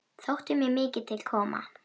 Þótti mér mikið til koma.